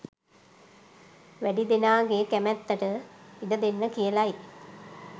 වැඩි දෙනාගේ කැමැත්තට ඉඩ දෙන්න කියලයි